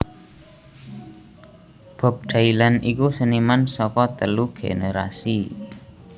Bob Dylan iku seniman saka telu gènèrasi